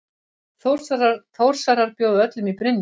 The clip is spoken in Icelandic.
Þórsarar bjóða öllum í Brynju!